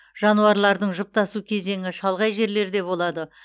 жануарлардың жұптасу кезеңі шалғай жерлерде болады